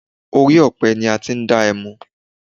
Orí ọ̀pẹ ni a ti ń dá ẹmu